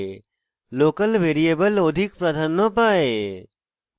local variable অধিক প্রাধান্য পায়